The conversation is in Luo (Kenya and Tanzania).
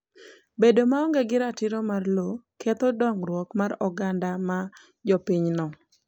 Bedo maonge gi ratiro ma lowo ketho dongruok mar oganda ma jopinyno.